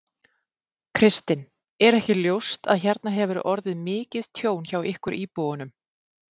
Kristinn: Er ekki ljóst að hérna hefur orðið mikið tjón hjá ykkur íbúunum?